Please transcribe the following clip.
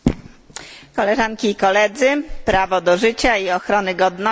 Prawo do życia i ochrony godności to podstawowe prawo człowieka.